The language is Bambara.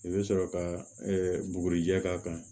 I bɛ sɔrɔ ka bugurijɛ k'a kan